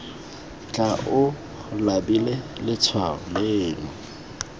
tla o labile letshwao leno